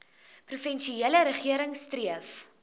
provinsiale regering streef